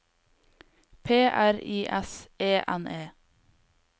P R I S E N E